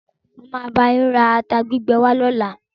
Máa lo bá yín ra ata gbígbẹ wá lọ́la.